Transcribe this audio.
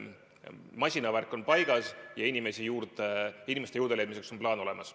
Masinavärk on paigas ja inimeste juurdeleidmiseks on plaan olemas.